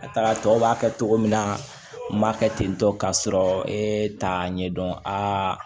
A taara tɔw b'a kɛ cogo min na n b'a kɛ tentɔ k'a sɔrɔ e t'a ɲɛdɔn a